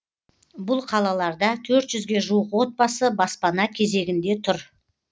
бұл қалаларда төрт жүзге жуық отбасы баспана кезегінде тұр